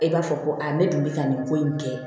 E b'a fɔ ko a ne dun bɛ ka nin ko in kɛ